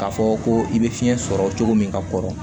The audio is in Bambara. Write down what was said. K'a fɔ ko i bɛ fiɲɛ sɔrɔ cogo min ka kɔrɔ